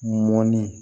Mɔnni